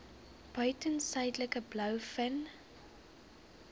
buiten suidelike blouvin